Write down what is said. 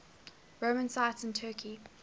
roman sites in turkey